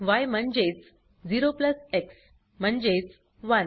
य म्हणजेच 0 plus x म्हणजेच 1